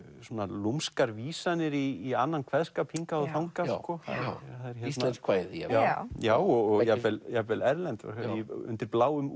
lúmskar vísarnir í annan kveðskap hingað og þangað íslensk kvæði já já já og jafnvel jafnvel erlend undir bláum